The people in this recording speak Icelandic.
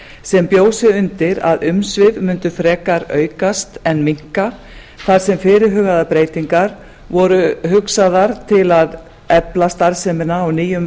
sem bjó sig undir að umsvif mundu frekar aukast en minnka þar sem fyrirhugaðar breytingar voru hugsaðar til að efla starfsemina á nýjum